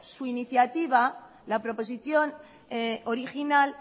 su iniciativa la proposición original